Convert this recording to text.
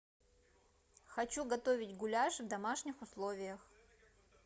хочу готовить гуляш в домашних условиях